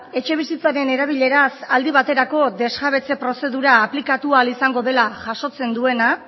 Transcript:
etxebizitzaren erabileraz aldi baterako desjabetze prozedura aplikatu ahal izango dela jasotzen duena